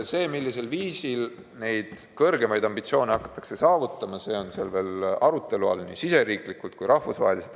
See, millisel viisil neid kõrgemaid ambitsioone hakatakse saavutama, on veel arutelu all nii riigisiseselt kui ka rahvusvaheliselt.